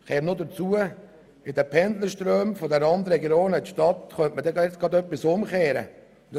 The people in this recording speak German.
Hinzu kommt, dass man einen Teil der Pendlerströme umkehren könnte.